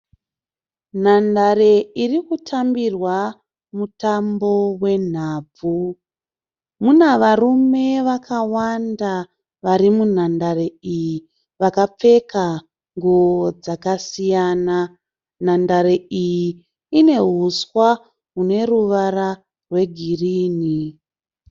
Nhandare iri kutambirwa mutambo wenhabvu. Mune varume vakawanda vari munhandare iyi vakapfeka nguwo dzakasiyana. Nhandare iyi ine huswa hune ruvara rwegirinhi.